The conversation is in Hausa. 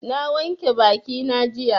Na wanke bakina jiya.